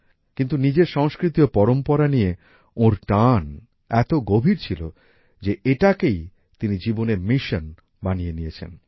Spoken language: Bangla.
কিন্তু নিজের সংস্কৃতি ও পরম্পরা নিয়ে ওঁর টান এত গভীর ছিল যে এটাকেই তিনি জীবনের মিশন বানিয়ে নিয়েছেন